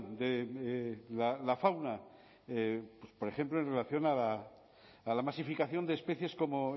de la fauna por ejemplo en relación a la masificación de especies como